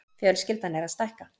Fjölskyldan er að stækka.